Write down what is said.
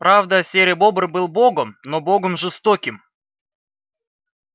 правда серый бобр был богом но богом жестоким